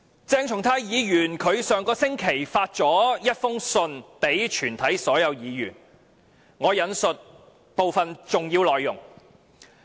鄭松泰議員於上星期向全體議員發出了一封信，我引述部分重要內容。